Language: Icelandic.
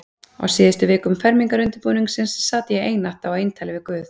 Á síðustu vikum fermingarundirbúningsins sat ég einatt á eintali við guð.